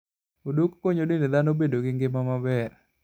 Odok konyo dend dhano bedo gi ngima maber.